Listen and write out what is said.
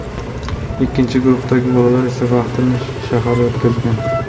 Ikkinchi guruhdagi bolalar esa vaqtini shaharda o‘tkazgan.